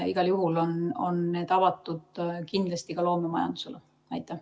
Igal juhul on need kindlasti ka loomemajandusele avatud.